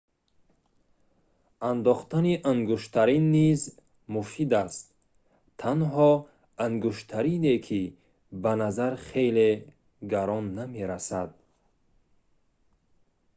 андохтани ангуштарин низ муфид аст танҳо ангуштарине ки ба назар хеле гарон намерасад